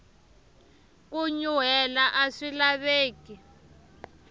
ku nyuhela aswi laveki